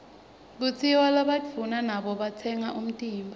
kutsiwa labaduuna nabo batsengba umtimba